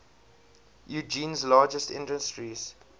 eugene's largest industries